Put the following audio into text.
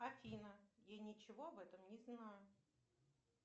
афина я ничего об этом не знаю